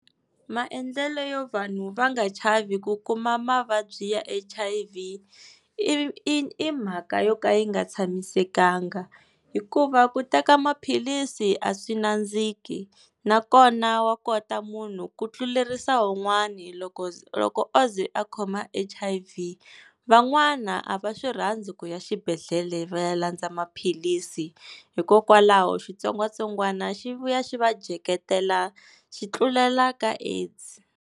Maendlelo yo vanhu va nga chavi ku kuma mavabyi ya H_I_V i i i mhaka yo ka yi nga tshamisekanga, hikuva ku teka maphilisi a swi nandziki, nakona wa kota munhu ku tlulerisa wun'wani loko loko o ze a khoma H_I_V. Van'wana a va swi rhandzi ku ya xibedhlele va ya landza maphilisi, hikokwalaho xitsongwatsongwana xi vuya xi va dyeketela xi tlulela ka AIDS.